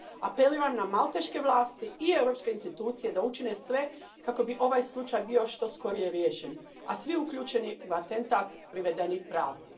Apeliram na malteške vlasti i europske institucije da učine sve kako bi ovaj slučaj bio što skorije riješen, a svi uključeni u atentat privedeni pravdi.